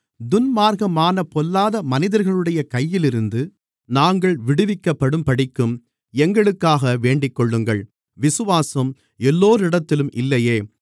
துன்மார்க்கமான பொல்லாத மனிதர்களுடைய கையிலிருந்து நாங்கள் விடுவிக்கப்படும்படிக்கும் எங்களுக்காக வேண்டிக்கொள்ளுங்கள் விசுவாசம் எல்லோரிடத்திலும் இல்லையே